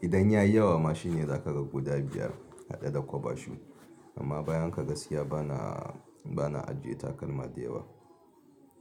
idan yayi yawa ma shine za ka ga guda biyar haɗe da kwaba shoe. Amma bayan haka gaskiya bana, bana ajiye takalma da yawa.